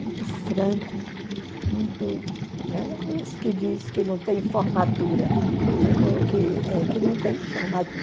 muito franco, muito... Né? Esse que diz que não tem formatura, que eh que não tem